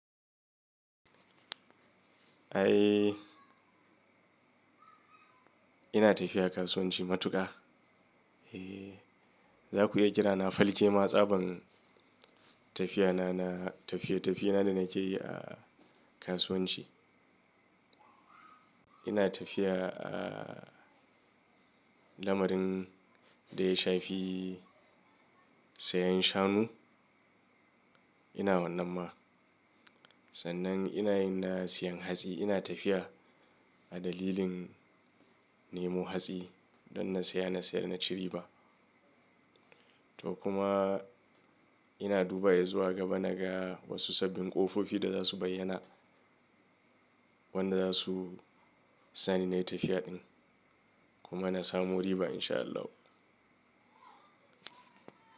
Ai ina tafiya kasuwanci matuka. Eh, za ku iya kira na falke ma tsaban tafiya na, na tafiye-tafiyena da nake yi a kasuwanci. Ina tafiya a lamarin da ya shafi sayan shanu. Ina wannan ma. Sannan ina yin na sayan hatsi. Ina tafiya a dalilin nemo hatsi don na saya, na sayar, na cire ba. To kuma ina duba ya zuwa gaba naga wasu sabbin ƙofofi da za su bayyana wanda za su sani na yi tafiya ɗin kuma na samo riba in sha Allah.